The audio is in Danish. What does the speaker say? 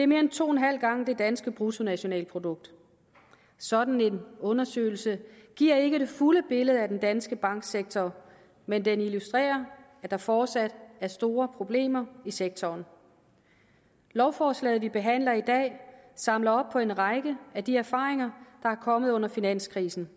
mere end to en halv gang det danske bruttonationalprodukt sådan en undersøgelse giver ikke det fulde billede af den danske banksektor men den illustrerer at der fortsat er store problemer i sektoren lovforslaget vi behandler i dag samler op på en række af de erfaringer er kommet under finanskrisen